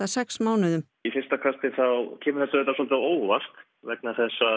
sex mánuðum í fyrsta kastið þá kemur þetta svolítið á óvart vegna þess